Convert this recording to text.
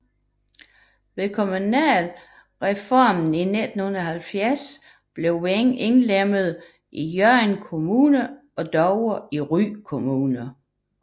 Ved kommunalreformen i 1970 blev Veng indlemmet i Hørning Kommune og Dover i Ry Kommune